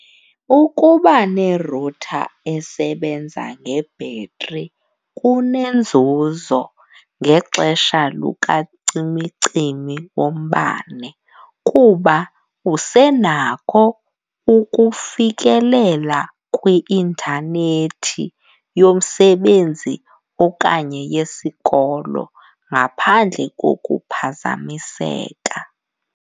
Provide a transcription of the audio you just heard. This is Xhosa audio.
Ukuba ne-router esebenza ngebhetri kunenzuzo ngexesha lukacimicimi wombane kuba usenakho ukufikelela kwi-intanethi yomsebenzi okanye yesikolo ngaphandle kokuphazamiseka.